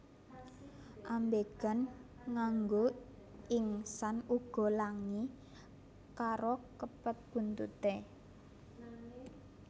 Ambegan nganggo ingsan uga langi karo kepet buntuté